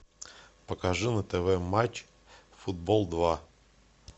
покажи на тв матч футбол два